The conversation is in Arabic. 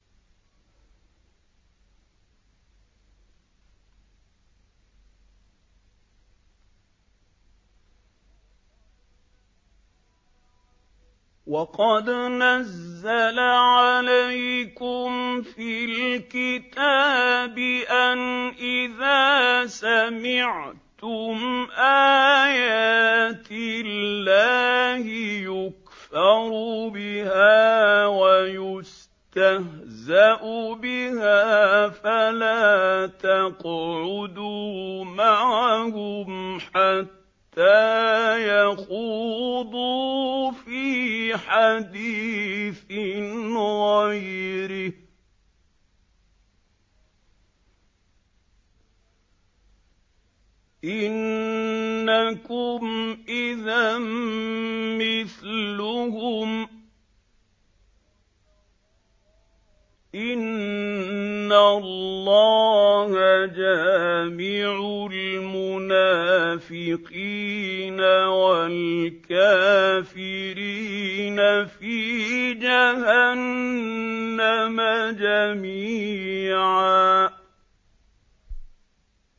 وَقَدْ نَزَّلَ عَلَيْكُمْ فِي الْكِتَابِ أَنْ إِذَا سَمِعْتُمْ آيَاتِ اللَّهِ يُكْفَرُ بِهَا وَيُسْتَهْزَأُ بِهَا فَلَا تَقْعُدُوا مَعَهُمْ حَتَّىٰ يَخُوضُوا فِي حَدِيثٍ غَيْرِهِ ۚ إِنَّكُمْ إِذًا مِّثْلُهُمْ ۗ إِنَّ اللَّهَ جَامِعُ الْمُنَافِقِينَ وَالْكَافِرِينَ فِي جَهَنَّمَ جَمِيعًا